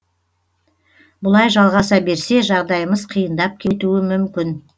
бұлай жалғаса берсе жағдайымыз қиындап кетуі мүмкін